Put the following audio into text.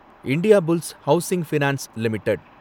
Indiabulls housing finance limited